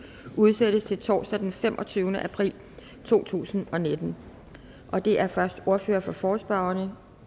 udsættes til torsdag den femogtyvende april to tusind og nitten det er først ordføreren for forespørgerne